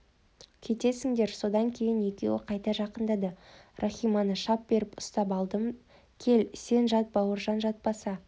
кетесіңдер содан кейін екеуі қайта жақындады рахиманы шап беріп ұстай алдым кел сен жат бауыржан жатпаса